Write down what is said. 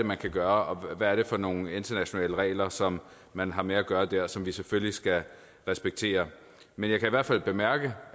man kan gøre hvad det er for nogle internationale regler som man har med at gøre der og som vi selvfølgelig skal respektere men jeg kan i hvert fald bemærke